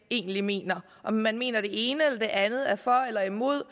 egentlig mener om man mener det ene eller det andet er for eller imod